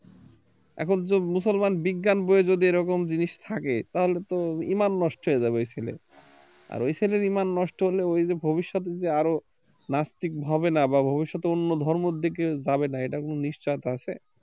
এখন যদি মুসলমান বিজ্ঞান বই এ যদি এরকম জিনিস থাকে তাহলে তো ইমান নষ্ট হয়ে যাবে ওই ছেলের আর ওই ছেলের ঈমান নষ্ট হলে ওই যে ভবিষ্যতের যে আরো নাস্তিক হবে না বা ভবিষ্যতে যে অন্য ধর্মের দিকে যাবে না এটার কোন নিশ্চয়তা আছে